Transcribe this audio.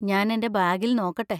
ഞാൻ എന്‍റെ ബാഗിൽ നോക്കട്ടെ.